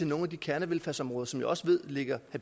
nogle af de kernevelfærdsområder som jeg også ved ligger